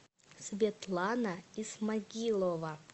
светлана исмагилова